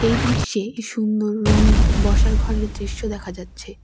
এই দৃশ্যে একটি সুন্দর রঙিন বসার ঘরের দৃশ্য দেখা যাচ্ছে।